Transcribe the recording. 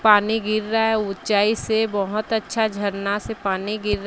पानी गिर रहा है ऊंचाई से बहोत अच्छा झरना से पानी गिर--